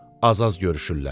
Az-az görüşürlər.